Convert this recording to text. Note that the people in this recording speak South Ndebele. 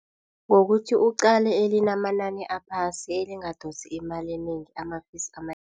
Ngokuthi uqale elinamanani aphasi elingadosi imali enengi ama-fees